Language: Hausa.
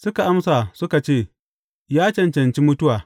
Suka amsa, suka ce, Ya cancanci mutuwa.